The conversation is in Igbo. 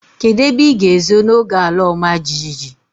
Kedụ ebe ịga ezo n'oge ala ọma jijiji?